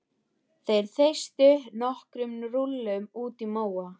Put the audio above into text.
Þeir þeystu nokkrum rúllum útí móa.